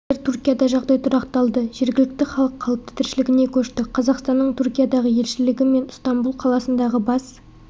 қазір түркияда жағдай тұрақталды жергілікті халық қалыпты тіршілігіне көшті қазақстанның түркиядағы елшілігі мен ыстамбұл қаласындағы бас